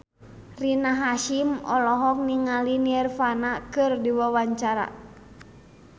Rina Hasyim olohok ningali Nirvana keur diwawancara